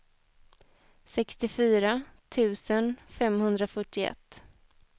sextiofyra tusen femhundrafyrtioett